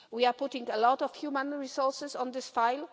We are putting a lot of human resources on this file.